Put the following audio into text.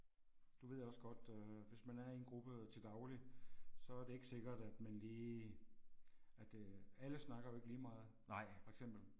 Du ved også godt øh hvis man er i en gruppe til daglig så er det ikke sikkert at man lige at øh alle snakker jo ikke lige meget for eksempel